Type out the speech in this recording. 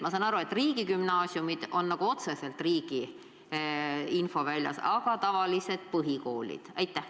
Ma saan aru, et riigigümnaasiumid on otseselt riigi infoväljas, aga kui kuidas on tavaliste põhikoolidega?